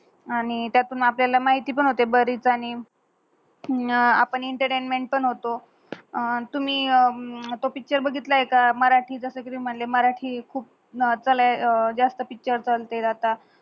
आणि त्यातून आपल्याला माहिती पन होते बर हीत आणि आपन एंटरटेनमेंट पण होतो अह तुम्ही त्यो पिक्चर बगितलय का मराटी जस एक म्हंटले मराटी खूप अत्ता लई जास्त पिक्चर पण तेझात